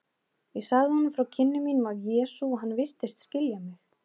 Ég sagði honum frá kynnum mínum af Jesú og hann virtist skilja mig.